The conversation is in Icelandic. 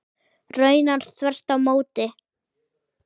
Raunar þvert á móti.